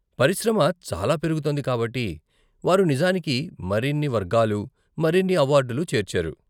పరిశ్రమ చాలా పెరుగుతోంది కాబట్టి వారు నిజానికి మరిన్ని వర్గాలు, మరిన్ని అవార్డులు చేర్చారు.